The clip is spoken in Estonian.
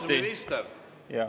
Austatud minister!